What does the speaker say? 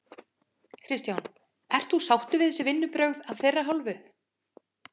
Kristján: Ert þú sáttur við þessi vinnubrögð af þeirra hálfu?